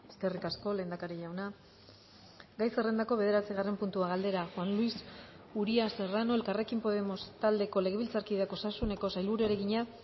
eskerrik asko lehendakari jauna gai zerrendako bederatzigarren puntua galdera juan luis uria serrano elkarrekin podemos taldeko legebiltzarkideak osasuneko sailburuari egina